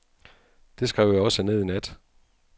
Det skrev jeg også ned i nat.